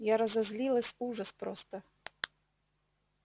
я разозлилась ужас просто